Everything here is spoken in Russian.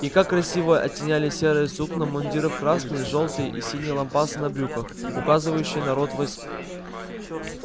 и как красиво оттеняли серое сукно мундиров красные жёлтые и синие лампасы на брюках указывающие на род войск